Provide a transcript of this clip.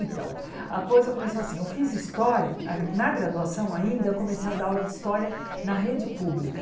Então, a coisa começou assim, eu fiz história, na gra na graduação ainda, eu comecei a dar aula de história na rede pública.